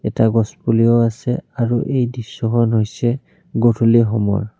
এটা গছ পুলিও আছে আৰু এই দৃশ্যখন হৈছে গধূলি সময়ৰ।